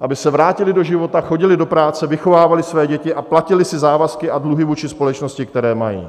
aby se vrátili do života, chodili do práce, vychovávali své děti a platili si závazky a dluhy vůči společnosti, které mají.